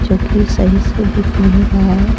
जोकि सही से दिख नहीं रहा है।